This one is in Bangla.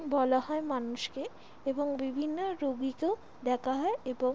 বলা হয় মানুষ কে এবং বিভিন্ন রুগিকেও দেখা হয় এবং--